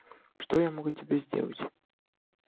что я могу тебе сделать